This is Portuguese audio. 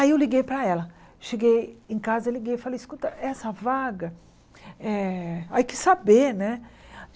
Aí eu liguei para ela, cheguei em casa, e liguei e falei, escuta, essa vaga, eh aí quis saber, né?